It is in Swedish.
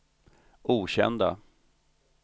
okända